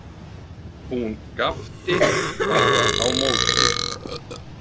Hún gapti bara á móti.